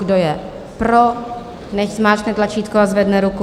Kdo je pro, nechť zmáčkne tlačítko a zvedne ruku.